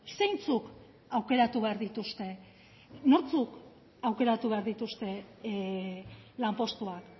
zeintzuk aukeratu behar dituzte nortzuk aukeratu behar dituzte lanpostuak